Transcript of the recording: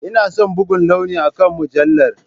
Ina son buga launi akan mujallar.